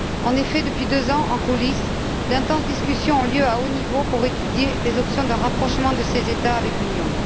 En effet, depuis deux ans, en coulisses, d'intenses discussions ont lieu à haut niveau pour étudier les options d'un rapprochement de ces États avec l'Union.